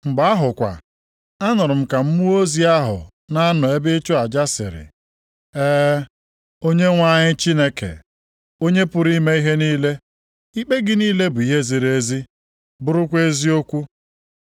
Mgbe ahụ kwa, anụrụ m ka mmụọ ozi ahụ na-anọ nʼebe ịchụ aja sịrị, “E, Onyenwe anyị Chineke, Onye pụrụ ime ihe niile, ikpe gị niile bụ nke ziri ezi, bụrụkwa eziokwu.”